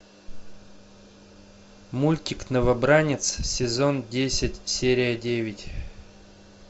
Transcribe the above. мультик новобранец сезон десять серия девять